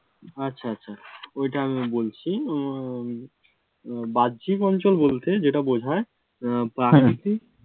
আচ্ছা আচ্ছা, ওইটা আমি বলছি। উম বাহ্যিক অঞ্চল বলতে যেটা বুঝায় আহ প্রাকৃতিক